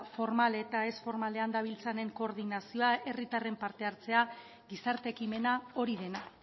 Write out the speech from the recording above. formal eta ez formalean dabiltzanen koordinazioa herritarren parte hartzea gizarte ekimena hori dena